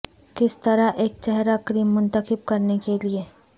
کس طرح ایک چہرہ کریم منتخب کرنے کے لئے